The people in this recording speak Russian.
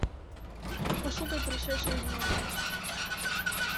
пошукай пришедший из моря